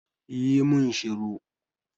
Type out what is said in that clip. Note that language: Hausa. Yi mun shiru!